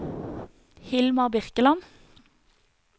Hilmar Birkeland